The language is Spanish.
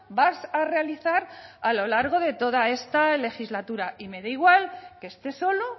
vas a realizar a lo largo de toda esta legislatura y me da igual que esté solo